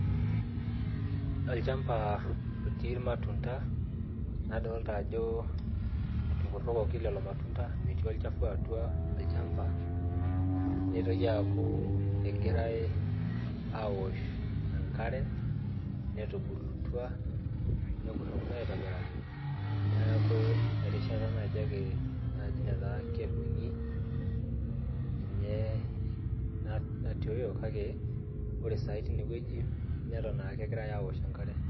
Olchamba otii ilmatunda nadolta ajo etukurrokoki lelo matunda metii olchafu atua olchamba neitoki aaku egirae awosh enkare netubulutua nekurrokino aitobiraki neeku erishata naaji ake naaji netaa kedung'i ninye natioyo kake ore saai tinewueji neton akegirae awosh enkare.